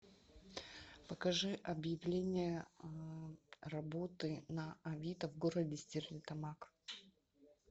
покажи объявление работы на авито в городе стерлитамак